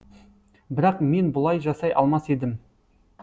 бірақ мен бұлай жасай алмас едім